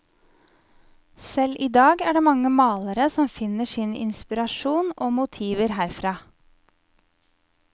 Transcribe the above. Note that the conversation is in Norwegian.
Selv idag er det mange malere som finner sin inspirasjon og motiver herfra.